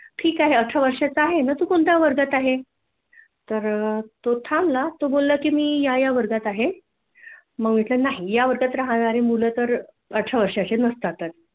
ठिक आहे अठरा वर्षाचा आहे मग तु कोणत्या वर्गात आहे तर तो थांबला तो बोलला की मी या या वर्गात आहे मग म्हटल नाही या वर्गात राहणारे मुल तर अठरा वर्षाचे नसतात